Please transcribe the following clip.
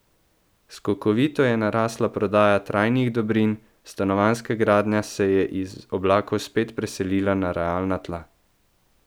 Skokovito je narasla prodaja trajnih dobrin, stanovanjska gradnja se je iz oblakov spet preselila na realna tla.